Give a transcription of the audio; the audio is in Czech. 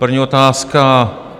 První otázka.